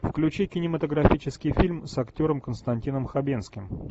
включи кинематографический фильм с актером константином хабенским